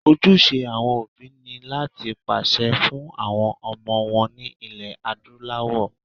Ojúṣe àwọn òbí ni láti pèsè fún àwọn ọmọ wọn ní ilẹ̀ Adúláwọ̀